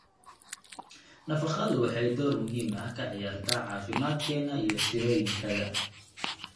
Nafaqadu waxay door muhiim ah ka ciyaartaa caafimaadkeena iyo tirooyinkayada.